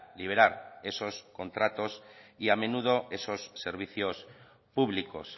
liberar esos contratos y a menudo esos servicios públicos